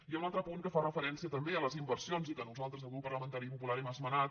hi ha un altre punt que fa referència també a les inversions i que nosaltres el grup parlamentari popular hem esmenat